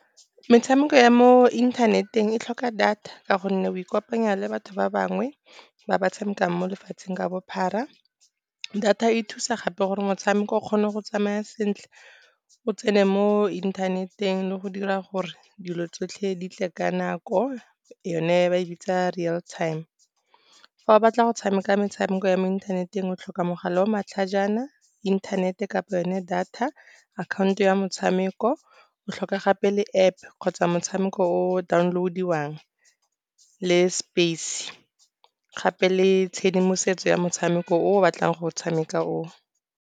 Metshameko ya mo inthaneteng e tlhoka data ka gonne o ikopanya le batho ba bangwe ba ba tshamekang mo lefatsheng ka bophara. Data e thusa gape gore motshameko o kgone go tsamaya sentle, o tsene mo internet-eng le go dira gore dilo tsotlhe di tle ka nako yone ba e bitsa real time. Fa o batla go tshameka metshameko ya mo inthaneteng, o tlhoka mogala o matlhajana, inthanete kapa yone data. Akhaonto ya motshameko, o tlhoka gape le App kgotsa motshameko o download-iwang le space. Gape le tshedimosetso ya motshameko o o batlang go o tshameka oo.